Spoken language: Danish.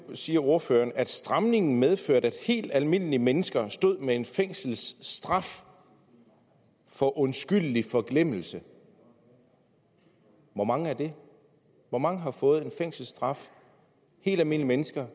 nu siger ordføreren at stramningen medførte at helt almindelige mennesker stod med en fængselsstraf for undskyldelig forglemmelse hvor mange er det hvor mange har fået en fængselsstraf helt almindelige mennesker